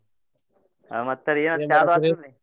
ಹ್ಮ್ ಮತ್ತ ರೀ ಆತಿಲ್ರೀ?